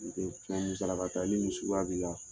Nin tɛ fɛn musalaka ta ye ni nin suguya b'i la